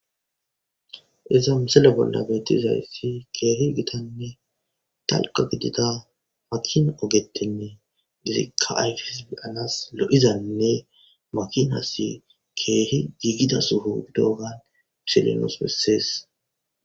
iza misele bolla beeti izayssi keehi gitanne talqa gidida makin ogetinne gizikayfisalas lo7izanne makinassi keehi giigida suhu doogan pisilenos bessees